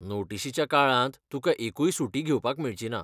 नोटीशीच्या काळांत तुका एकूय सुटी घेवपाक मेळची ना.